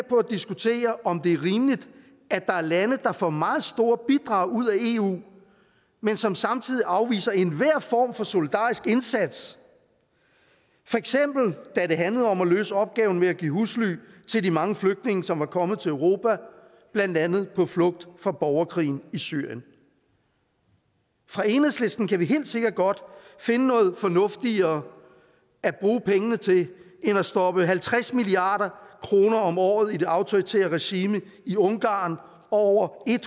diskutere om det er rimeligt at der er lande der får meget store bidrag ud af eu men som samtidig afviser enhver form for solidarisk indsats for eksempel da det handlede om at løse opgaven med at give husly til de mange flygtninge som var kommet til europa blandt andet på flugt fra borgerkrigen i syrien fra enhedslisten kan vi helt sikkert godt finde noget fornuftigere at bruge pengene til end at stoppe halvtreds milliard kroner om året i det autoritære regime i ungarn og over